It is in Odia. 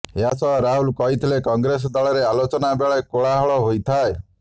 ଏହାସହ ରାହୁଲ କହିଥିଲେ କଂଗ୍ରେସ ଦଳରେ ଆଲୋଚନା ବେଳେ କୋଳାହଳ ହୋଇଥାଏ